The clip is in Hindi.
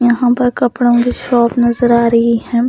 यहाँ पर कपड़ों की शॉप नजर आ रही है।